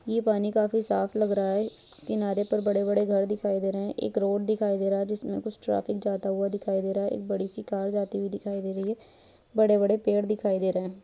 ये पानी काफी साफ लग रहा है किनारे पर बड़े-बड़े घर दिखाई दे रहे हैं एक रोड दिखाई दे रहा है जिसमे कुछ ट्राफिक जाता हुआ दिखाई दे रहा है एक बड़ी-सी कार जाती हुई दिखाई दे रही है बड़े-बड़े पेड़ दिखाई दे रहे हैं।